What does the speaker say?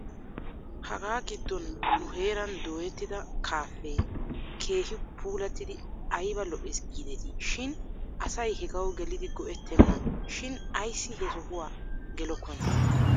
Ha giddon nu heeran dooyettida kaafee keehi puulattidi ayb lo'es giidetii shin asay hegaw gelidi go'ettenna shin ayssi he sohuwaa gelokkonaa?